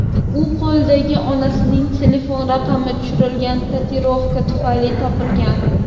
U qo‘lidagi onasining telefon raqami tushirilgan tatuirovka tufayli topilgan.